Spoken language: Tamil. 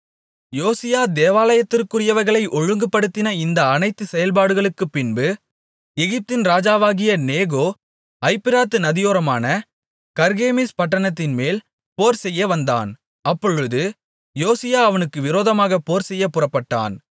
யோசியா தேவாலயத்திற்குரியவைகளை ஒழுங்குபடுத்தின இந்த அனைத்து செயல்பாடுகளுக்கும்பின்பு எகிப்தின் ராஜாவாகிய நேகோ ஐப்பிராத்து நதியோரமான கர்கேமிஸ் பட்டணத்தின்மேல் போர் செய்யவந்தான் அப்பொழுது யோசியா அவனுக்கு விரோதமாக போர்செய்யப் புறப்பட்டான்